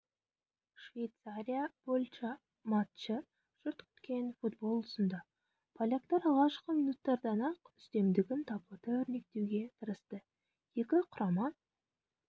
швейцария польша матчы жұрт күткен футбол ұсынды поляктар алғашқы минуттардан-ақ үстемдігін таблода өрнектеуге тырысты екі құрама